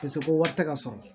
Paseke ko wari tɛ ka sɔrɔ